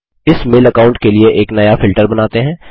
इस mail account के लिए एक नया फिल्टर बनाते हैं